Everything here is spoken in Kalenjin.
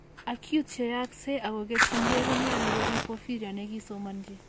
Acute cheyakse ak koketin keey konyalu korib porphyria ne kisomanchi